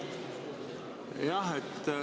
Palun!